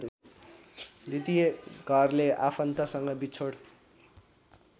द्वितीय घरले आफन्तसँग विछोड